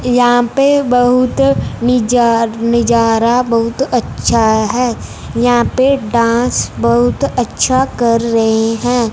यहां पे बहुत निजा निजारा बहुत अच्छा है यहां पे डांस बहुत अच्छा कर रहे हैं।